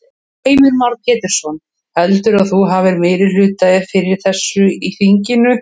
Heimir Már Pétursson: Heldurðu að þú hafi meirihluta fyrir þessu í þinginu?